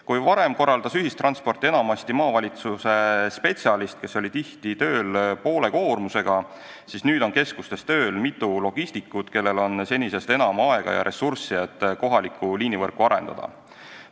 Kui varem korraldas ühistransporti enamasti maavalitsuse spetsialist, kes oli tihti tööl poole koormusega, siis nüüd on keskustes tööl mitu logistikut, kellel on senisest enam aega ja ressurssi, et kohalikku liinivõrku arendada.